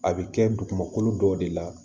A bɛ kɛ dugumakolo dɔw de la